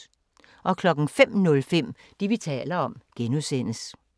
05:05: Det, vi taler om (G)